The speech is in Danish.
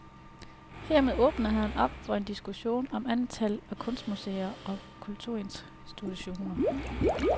Hermed åbnede han op for en diskussion om antallet af kunstmuseer og kulturinstitutioner.